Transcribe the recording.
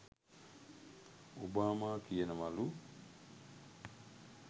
Obama කියනවලු